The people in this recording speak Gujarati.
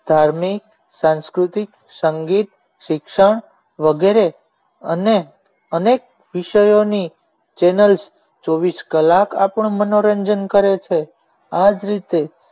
ધાર્મિક સાંસ્કૃતિક સંગીત શિક્ષણ વગેરે અને અનેક વિષયોની ચેનલ ચોવીસ કલાક આપણને મનોરંજન કરે છે આ જ રીતે